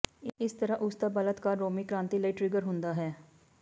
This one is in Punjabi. ਇਸ ਤਰ੍ਹਾਂ ਉਸ ਦਾ ਬਲਾਤਕਾਰ ਰੋਮੀ ਕ੍ਰਾਂਤੀ ਲਈ ਟਰਿਗਰ ਹੁੰਦਾ ਹੈ